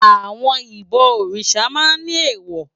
Àwòn ibò órisá mà n ni éwò